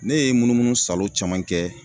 Ne ye munumunu salo caman kɛ